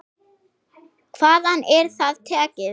Hvaðan er það tekið?